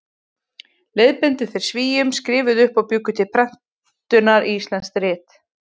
Leiðbeindu þeir Svíum, skrifuðu upp og bjuggu til prentunar íslensk rit.